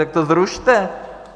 Tak to zrušte!